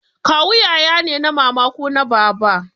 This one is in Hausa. Kawu yaya ne na mama ko na baba